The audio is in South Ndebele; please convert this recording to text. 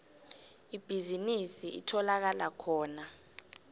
ibhizinisi itholakala khona